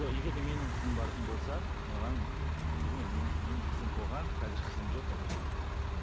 жоқ егер де менің қызым баратын болса маған білмеймін мен менің қызым болған қазір қызым жоқ қазір і